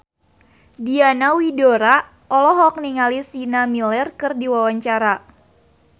Diana Widoera olohok ningali Sienna Miller keur diwawancara